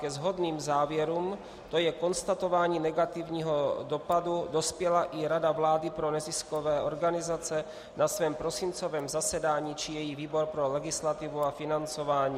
Ke shodným závěrům, to je konstatování negativního dopadu, dospěla i Rada vlády pro neziskové organizace na svém prosincovém zasedání, či její výbor pro legislativu a financování.